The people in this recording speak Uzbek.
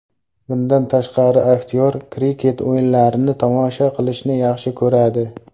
Bundan tashqari, aktyor kriket o‘yinlarini tomosha qilishni yaxshi ko‘radi.